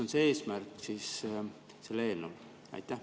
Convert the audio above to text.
Mis eesmärk sellel eelnõul on?